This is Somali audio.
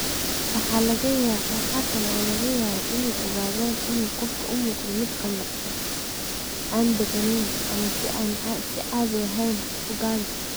Waxa kale oo laga yaabaa inay ogaadaan in qofku u muuqdo mid qallafsan, aan degganayn, ama si aan caadi ahayn u gaabis ah.